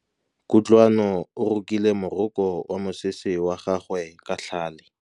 Kutlwanô o rokile morokô wa mosese wa gagwe ka tlhale.